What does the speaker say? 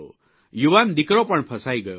યુવાન દિકરો પણ ફસાઇ ગયો હતો